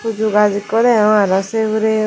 huju gus eko degong arow saye huray.